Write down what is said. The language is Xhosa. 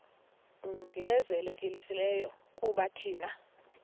ongezelelekileyo kuba thina